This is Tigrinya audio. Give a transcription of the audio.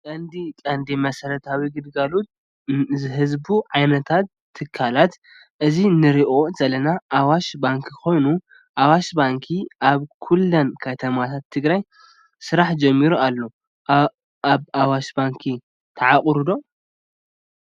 ካብቶም ቀንዲ ቀንዲ መሰረታዊ ግልጋሎት ዝህቡ ዓይነታት ትካላት እዚ እንረኦ ዘለና ኣዋሽ ባንኪ ኮይኑ ኣዋሽ ባንኪ ኣብ ኩለን ከተማታት ትግራይ ስራሕ ጀሚሩ ኣሎ። ኣብ ኣዋሽ ባንኪ ትዓቋሩ ዶ?